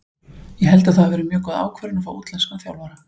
Ég held að það hafi verið mjög góð ákvörðun að fá útlenskan þjálfara.